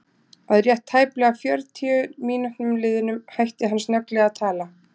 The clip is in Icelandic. Að rétt tæplega fjörutíu mínútum liðnum hætti hann snögglega að tala.